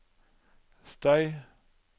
støy